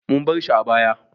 Mun bar shi a bayi.